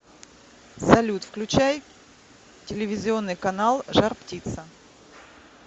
салют включай телевизионный канал жар птица